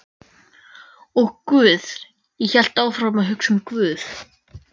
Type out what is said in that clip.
Og guð, ég hélt áfram að hugsa um guð.